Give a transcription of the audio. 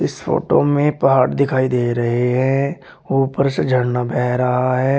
इस फोटो में पहाड़ दिखाई दे रहे हैं। ऊपर से झरना बह रहा है।